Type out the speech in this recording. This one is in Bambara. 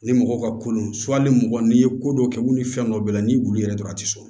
Ni mɔgɔw ka kolon hali mɔgɔ n'i ye ko dɔ kɛ u ni fɛn dɔ b'a la ni wulu yɛrɛ dɔrɔn a tɛ sɔn